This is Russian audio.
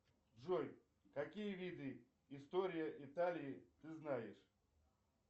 джой какие виды история италии ты знаешь